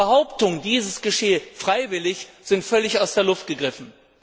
Behauptungen, dies geschehe freiwillig, sind völlig aus der Luft gegriffen.